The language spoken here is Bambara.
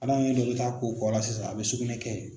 Hadamaden dɔ bɛ taa ko kɔ la sisan a bɛ sugunɛ kɛ ye.